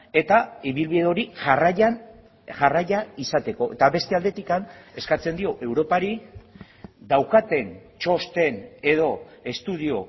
eta ibilbide hori jarraian jarraia izateko eta beste aldetik eskatzen dio europari daukaten txosten edo estudio